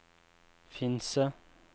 Finse